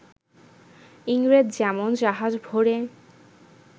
ইংরেজ যেমন জাহাজ ভরে